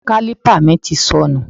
Kálípà mi ti sọnù